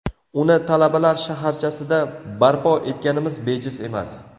Uni Talabalar shaharchasida barpo etganimiz bejiz emas.